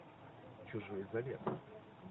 чужой завет